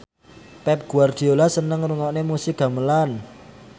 Pep Guardiola seneng ngrungokne musik gamelan